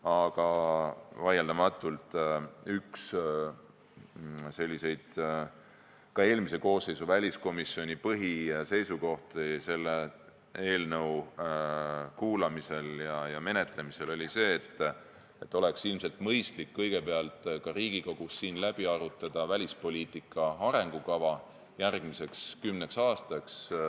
Aga vaieldamatult on üks ka eelmise koosseisu väliskomisjoni põhiseisukohti selle eelnõu kuulamisel ja menetlemisel olnud see, et ilmselt oleks mõistlik kõigepealt ka Riigikogus läbi arutada välispoliitika arengukava järgmiseks kümneks aastaks.